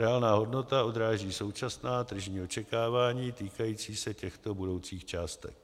Reálná hodnota odráží současná tržní očekávání týkající se těchto budoucích částek.